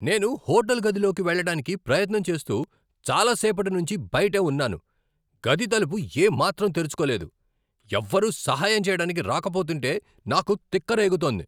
నేను హోటల్ గదిలోకి వెళ్ళడానికి ప్రయత్నం చేస్తూ చాలా సేపటినుంచి బయటే ఉన్నాను, గది తలుపు ఏమాత్రం తెరుచుకోలేదు. ఎవ్వరు సహాయం చెయ్యడానికి రాకపోతుంటే నాకు తిక్క రేగుతోంది.